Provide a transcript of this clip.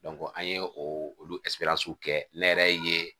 an ye o olu kɛ ne yɛrɛ ye